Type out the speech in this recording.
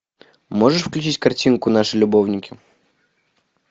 можешь включить картинку наши любовники